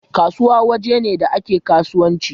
Kasuwa wuri ne da ake kasuwanci